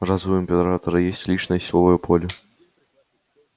разве у императора есть личное силовое поле